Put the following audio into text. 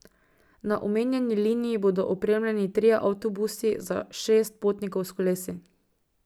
Na omenjeni liniji bodo opremljeni trije avtobusi za šest potnikov s kolesi.